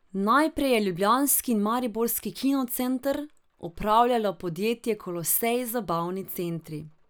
Najprej je ljubljanski in mariborski kino center upravljalo podjetje Kolosej Zabavni centri.